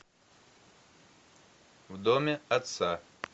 в доме отца